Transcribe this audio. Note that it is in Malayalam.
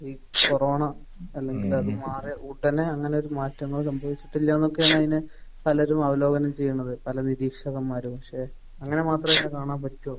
ഈ കൊറോണ അല്ലെങ്കിൽ അത് മാറിയ ഉടനെ അങ്ങനെ ഒരു മാറ്റങ്ങൾ സംഭവിച്ചിട്ടില്ല എന്നൊക്കെയാണ് അതിനെ പലരും അവലോകനം ചെയ്യുന്നത്. പല നിരീക്ഷകന്മാരും. പക്ഷെ അങ്ങനെ മാത്രം അതിനെ കാണാൻ പറ്റുമോ?